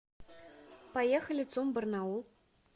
поехали цум барнаул